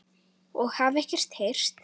og hafði ekkert heyrt.